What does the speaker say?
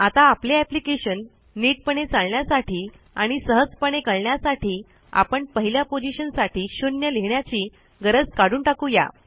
आता आपले एप्लिकेशन नीटपणे चालण्यासाठी आणि सहजपणे कळण्यासाठी आपण पहिल्या पोझिशन साठी 0 लिहिण्याची गरज काढून टाकू या